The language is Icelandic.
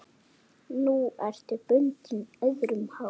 Nú ertu bundin, öðrum háð.